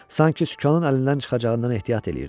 Sanki sükanın əlindən çıxacağından ehtiyat eləyirdi.